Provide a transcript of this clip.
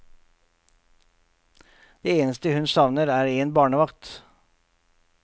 Det eneste hun savner er en barnevakt.